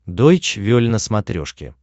дойч вель на смотрешке